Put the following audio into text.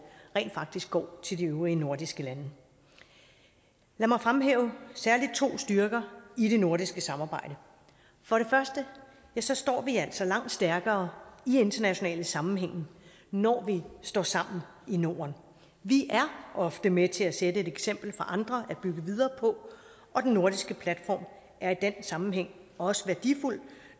rent faktisk går til de øvrige nordiske lande lad mig fremhæve særlig to styrker i det nordiske samarbejde for det første står vi altså langt stærkere i internationale sammenhænge når vi står sammen i norden vi er ofte med til at sætte et eksempel for andre at bygge videre på og den nordiske platform er i den sammenhæng også værdifuld